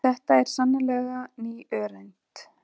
Þetta er sannarlega ný öreind.